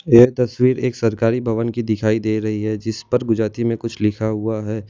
ये तस्वीर एक सरकारी भवन की दिखाई दे रही है जिसपर गुजराती मे कुछ लिखा हुआ है।